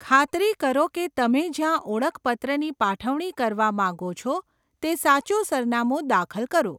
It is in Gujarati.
ખાતરી કરો કે તમે જ્યાં ઓળખપત્રની પાઠવણી કરવા માગો છો તે સાચુ સરનામું દાખલ કરો.